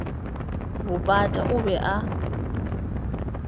bo pata o be a